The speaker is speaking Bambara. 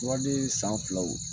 Turaden san filaw